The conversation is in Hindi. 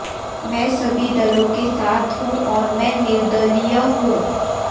मैं सभी दलों के साथ हूं और मैं निर्दलीय हूं